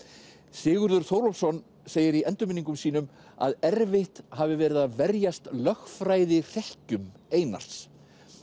Sigurður Þórólfsson segir í endurminningum sínum að erfitt hafi verið að verjast Einars